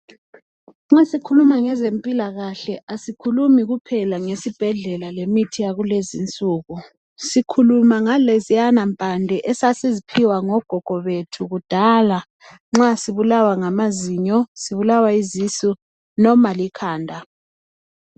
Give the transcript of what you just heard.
Nxa sikhuluma ngezempilakahle asikhulumi kuphela ngesibhedlela lemithi yakulezinsuku sikhuluma ngaleziyana impande esasiziphiwa ngogogo bethu kudala nxa sibulawa ngamazinyo, sibulawa yizisu noma likhanda.